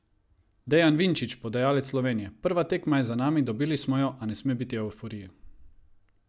Dejan Vinčić, podajalec Slovenije: "Prva tekma je za nami, dobili smo jo, a ne sme biti evforije.